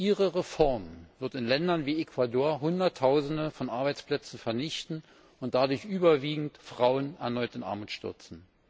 Ihre Reform wird in Ländern wie Ecuador hunderttausende von Arbeitsplätzen vernichten und dadurch überwiegend Frauen erneut in Armut stürzen.